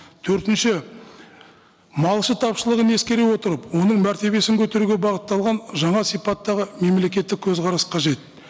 төртінш малшы тапшылығын ескере отырып оның мәртебесін көтеруге бағытталған жаңа сипаттағы мемлекеттік көзқарас қажет